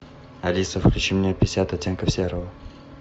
алиса включи мне пятьдесят оттенков серого